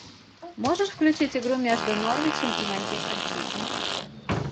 можешь включить игру между норвичем и манчестер сити